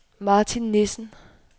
Martin Nissen